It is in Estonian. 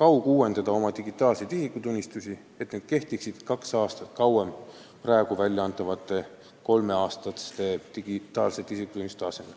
kauguuendada oma digitaalseid isikutunnistusi, et need kehtiksid kaks aastat kauem kui praegu kolmeks aastaks välja antavad digitaalsed isikutunnistused.